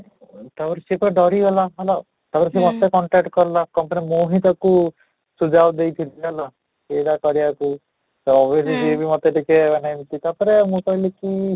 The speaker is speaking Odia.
ଅଁ ତା'ପରେ ସେ ପୁରା ଡରି ଗଲା, ତା'ପରେ ସେ whats APP contact କଲା , ତା'ପରେ ମୁଁ ହିଁ ତାକୁ ଦେଇଥିଲି ହେଲା ଏଇଟା କରିବାକୁ କହୁଛି କି ମୋତେ ଟିକେ ମାନେ ଏମିତି ତା'ପରେ ମୁଁ କହିଲି କି